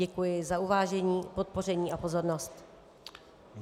Děkuji za uvážení, podpoření a pozornost.